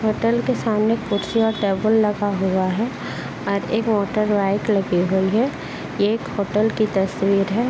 Hotel के सामने कुर्सी और टेबल लगा हुआ है और एक मोटरबाइक लगी हुई है। एक होटल की तस्वीर है।